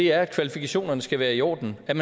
er at kvalifikationerne skal være i orden kan